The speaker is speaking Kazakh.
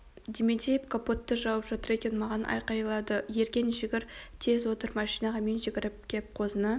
дементьев капотты жауып жатыр екен маған айқайлады ерген жүгір тез отыр машинаға мен жүгіріп кеп қозыны